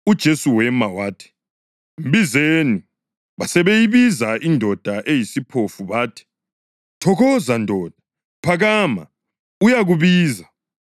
UJesu wema wathi, “Mbizeni.” Basebeyibiza indoda eyisiphofu bathi, “Thokoza ndoda! Phakama! Uyakubiza.”